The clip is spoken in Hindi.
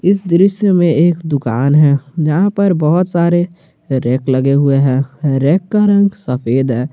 इस दृश्य में एक दुकान है जहां पर बहुत सारे रैक लगे हुए हैं रैक का रंग सफेद है।